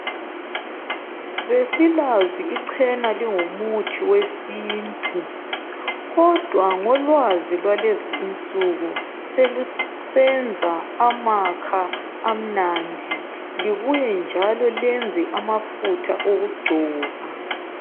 Besilazi ichena lingumuthi wesintu kodwa ngolwazi lwalezi insuku selusenza amakha amnandi libuye njalo lenze amafutha okugcoba